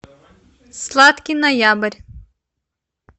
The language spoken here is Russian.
сладкий ноябрь